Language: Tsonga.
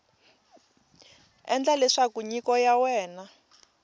endla leswaku nyiko ya wena